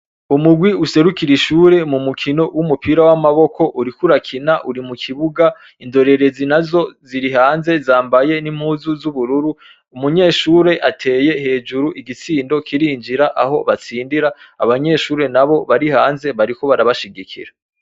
Umugwi userukira ishure mumu kino w'umupira w'amaboko, uriko urakina uri mukibuga, indorerezi nazo ziri hanze zambaye n'impuzu z'ubururu ,umunyeshure ateye hejuru igitsindo kirinjira aho batsindira , abanyeshure nabo bari hanze bariko barabashigikira.